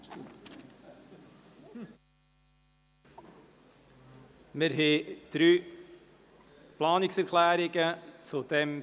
Zu diesem Bericht liegen drei Planungserklärungen vor.